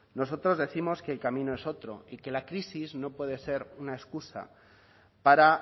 nosotros décimos que el camino es otro y que la crisis no puede ser una excusa para